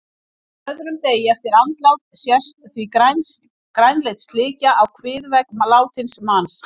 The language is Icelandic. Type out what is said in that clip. Á öðrum degi eftir andlát sést því grænleit slikja á kviðvegg látins manns.